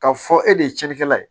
K'a fɔ e de ye cɛnnikɛla ye